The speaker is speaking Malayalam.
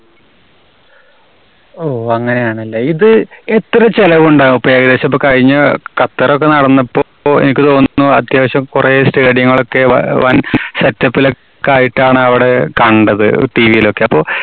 ഓ അങ്ങനെയാണല്ലേ. ഇത് എത്ര ചെലവുണ്ടാകും? ഇപ്പോ ഏകദേശം ഇപ്പ കഴിഞ്ഞ ഖ~ഖത്തറ് ഒക്കെ നടന്നപ്പോ~പ്പോ എനിക്ക് തോന്നുന്നു അത്യാവശ്യം കുറെ stadium ങ്ങളൊക്കെ വ~വൻ setup ലൊക്കെ ആയിട്ടാണ് അവിടെ കണ്ടത് TV യിലൊക്കെ. അപ്പോ